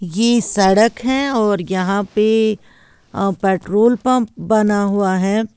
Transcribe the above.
ये सड़क है और यहां पे पेट्रोल पंप बना हुआ है।